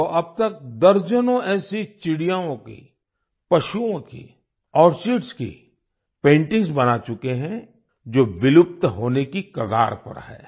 वो अब तक दर्जनों ऐसी चिड़ियाओं की पशुओं की आर्किड्स की पेंटिंग्स बना चुके हैं जो विलुप्त होने की कगार पर हैं